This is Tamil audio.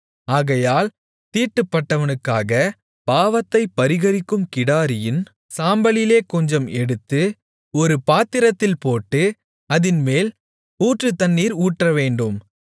ஆகையால் தீட்டுப்பட்டவனுக்காக பாவத்தைப் பரிகரிக்கும் கிடாரியின் சாம்பலிலே கொஞ்சம் எடுத்து ஒரு பாத்திரத்தில் போட்டு அதின்மேல் ஊற்று தண்ணீர் ஊற்றவேண்டும்